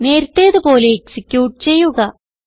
നേരത്തേത് പോലെ എക്സിക്യൂട്ട് ചെയ്യുക